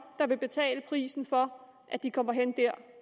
der vil betale prisen for at de kommer derhen